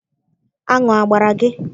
Aṅụ agbara gị?